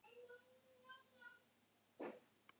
Mikið þætti mér vænt um það, Arnar minn!